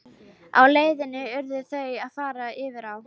Á leið sinni urðu þau að fara yfir á.